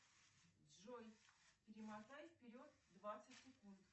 джой перемотай вперед двадцать секунд